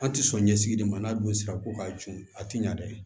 An tɛ sɔn ɲɛsigi de ma n'a dun sera ko k'a jun a tɛ ɲa dɛ